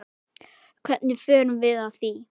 Hvernig förum við að því?